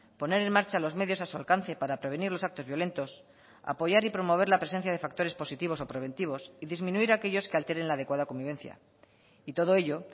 poner en marcha los medios a su alcance para prevenir los actos violentos apoyar y promover la presencia de factores positivos o preventivos y disminuir aquellos que alteren la adecuada convivencia y todo ello